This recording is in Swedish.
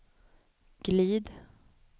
glid